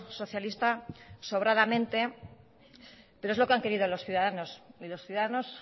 socialista sobradamente pero es lo que han querido los ciudadanos y los ciudadanos